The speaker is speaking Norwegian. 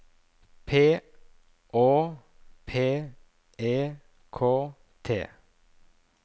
P Å P E K T